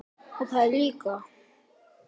Ég stóð strax upp.